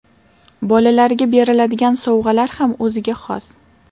Bolalarga beriladigan sovg‘alar ham o‘ziga xos.